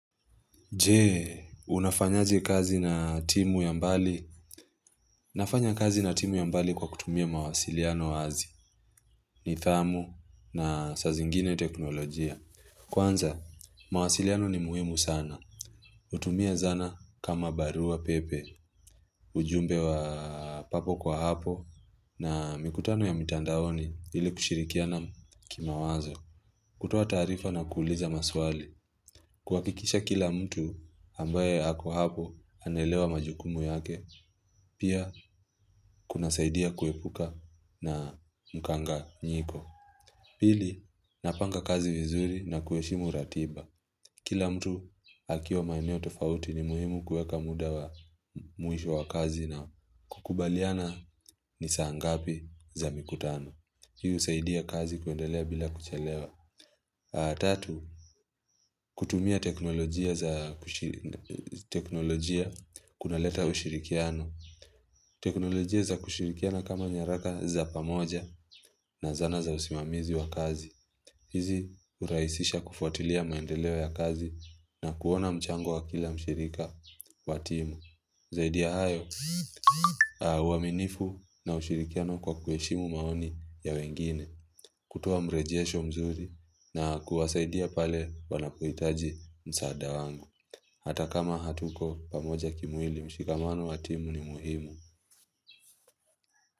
Je, kazi na timu ya mbali? Na fanya kazi na timu ya mbali kwa kutumia mawasiliano wazi ni thamu na saa zingine teknolojia. Kwanza, mawasiliano ni muhimu sana. Hutumia zana kama barua pepe, ujumbe wa papo kwa hapo na mikutano ya mitandaoni ili kushirikia na kimawazo. Kutoa tarifa na kuuliza maswali. Kuhakikisha kila mtu ambaye ako hapo anaelewa majukumu yake, pia kunasaidia kuepuka na mukanganyiko. Pili, napanga kazi vizuri na kuheshimu ratiba. Kila mtu akiwa maeneo tofauti ni muhimu kuweka muda wa mwisho wa kazi na kukubaliana ni saa ngapi za mikutano. Hii husaidia kazi kuendelea bila kuchelewa Tatu, kutumia teknolojia za kushiri kunaleta ushirikiano teknolojia za kushirikiana kama nyaraka za pamoja na zana za usimamizi wa kazi hizi hurahisisha kufuatilia maendeleo ya kazi na kuona mchango wa kila mshirika watimu Zaidi ya hayo, uaminifu na ushirikiano kwa kueshimu maoni ya wengine kutoa mrejesho mzuri na kuwasaidia pale wanapouhitaji msaada wangu. Hata kama hatuko pamoja kimwili mshikamano wa timu ni muhimu.